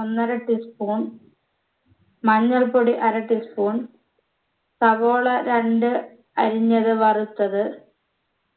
ഒന്നര tea spoon മഞ്ഞൾപൊടി അര tea spoon സവോള രണ്ട് അരിഞ്ഞത് വറുത്തത്